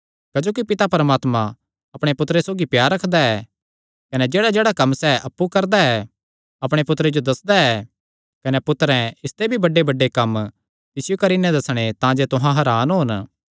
क्जोकि पिता परमात्मा अपणे पुत्तरे सौगी प्यार रखदा ऐ कने जेह्ड़ाजेह्ड़ा कम्म सैह़ अप्पु करदा ऐ अपणे पुत्तरे जो दस्सदा ऐ कने पुत्तरें इसते भी बड्डेबड्डे कम्म तिसियो करी नैं दस्सणे तांजे तुहां हरान होन